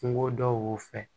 Kungo dɔw fɛ